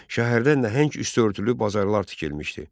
Şəhərdə nəhəng üstü örtülü bazarlar tikilmişdi.